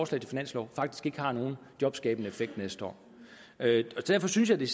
til finanslov faktisk ikke har nogen jobskabende effekt til næste år derfor synes jeg det